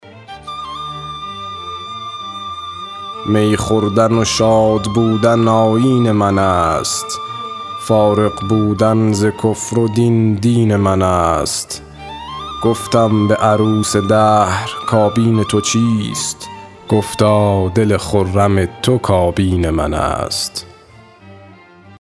می خوردن و شادبودن آیین من است فارغ بودن ز کفر و دین دین من است گفتم به عروس دهر کابین تو چیست گفتا دل خرم تو کابین من است